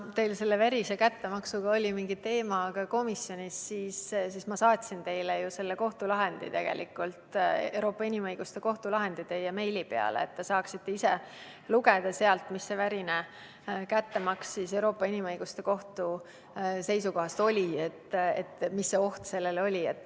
Kuna see verine kättemaks oli teil teemaks ka komisjonis, siis ma saatsin ju teile meili peale selle Euroopa Inimõiguste Kohtu lahendi, et saaksite ise lugeda, mida see "verine kättemaks" Euroopa Inimõiguste Kohtu seisukohast tähendas ja milline oli oht.